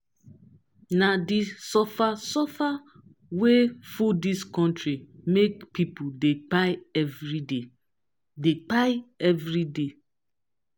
na di suffer-suffer wey full dis country make pipo dey kpai everyday. dey kpai everyday.